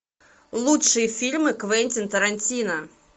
лучшие фильмы квентин тарантино